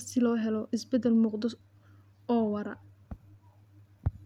ka shaqeyneysa sidii loo hirgelin lahaa Mashaariicda.